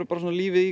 lífið í